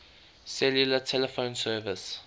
cellular telephone service